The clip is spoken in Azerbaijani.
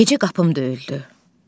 Gecə qapım döyüldü.